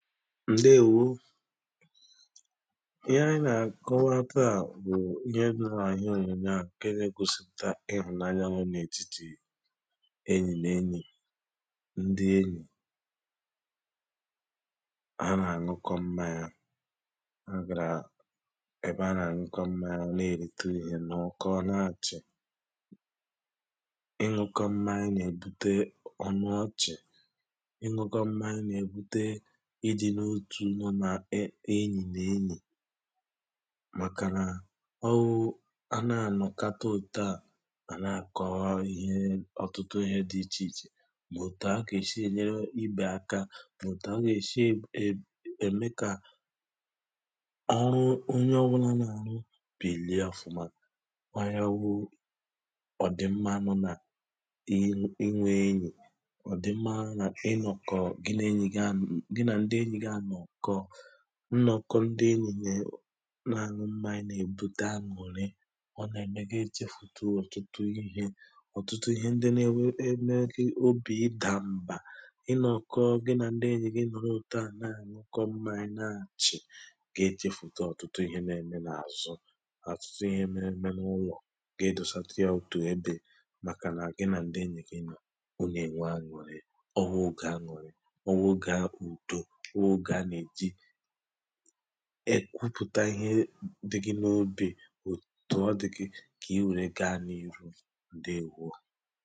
ndewō ihe ònyònyò a na-ègosìpụ̀ta obì aṅụ̀rị dị n’ètitì be ndi enyì obì aṅụ̀rị a nà-ègosìpụ̀takwa nà ha nọ̀kọ̀rọ̀ ọnụ̄ na àṅụ mmanya mànà èrikọ̄ íkēkwa ha nwèrụ̀ ikē ha gàrà ihe emume mà ọ̀bụ̀ nnọ̀kọ enyì n’enyì ị gà àhụ ǹkè nwókē nà ǹkè nwaànyì mọ̀ ǹkè nwókē nà ǹkè nwaànyí ǹke ọ̀zọ n’otù nwokē ebe ha nọ̀ na àkụkọta mmanya ọnụ̄ igōsi obì aṅụ̀rị n’idi n’otù ǹke di n’ètitì enyì n’enyì ihe à wụ̀ ihe anà ègōsìpụ̀ta ebe à màkànà onye ọbụnà nọ nà ụ̀wà ọnà àmasị onye ọnwulà nọ nà ụ̀wà kà onwe ndi enyì ndi wụ otù m̀gbè mà ọ̀bụ̀ m̀gbè àbụ̀ọ ha àpụ̀ọkwa gá nọ̀kọ́ mà chịá mà kọrikwa mà nwe obì aṅụ̀rị mà ṅụrika mmanya ọwụ̄ ihe a nà ègosìpụ̀ta n’ihe òyòyò ǹke à nọ́ ebe à ǹdewō